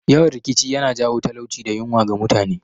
Yawan rikici yana jawo talauci da yunwa ga mutane